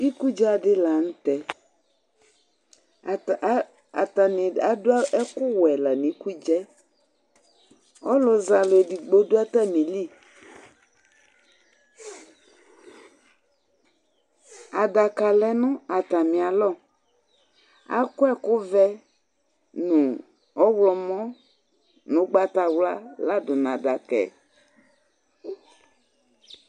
Ikudza di la n'tɛ, atani adu ɛku wɛ la n'ikudza, aluzɛ alu edigbo dù atamìli, adaka lɛ nu atamialɔ, akɔ ɛkuvɛ nu ɔwlɔmɔ nu ugbatawla la dù n'adaka